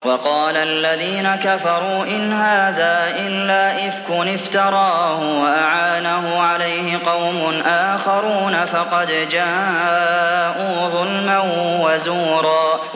وَقَالَ الَّذِينَ كَفَرُوا إِنْ هَٰذَا إِلَّا إِفْكٌ افْتَرَاهُ وَأَعَانَهُ عَلَيْهِ قَوْمٌ آخَرُونَ ۖ فَقَدْ جَاءُوا ظُلْمًا وَزُورًا